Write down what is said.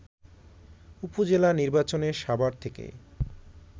উপজেলা নির্বাচনে সাভার থেকে